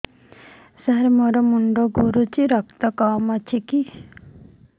ସାର ମୋର ମୁଣ୍ଡ ଘୁରୁଛି ରକ୍ତ କମ ଅଛି କି